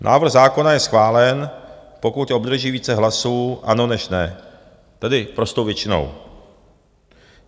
Návrh zákona je schválen, pokud obdrží více hlasů "ano" než "ne", tedy prostou většinou.